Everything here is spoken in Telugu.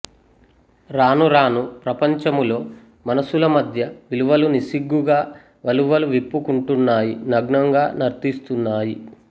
రానురాను ప్రపంచము లో మనస్సుల మధ్య విలువలు నిస్సిగ్గుగా వలువలు విప్పుకుంటున్నాయి నగ్నంగా నర్తిస్తున్నాయి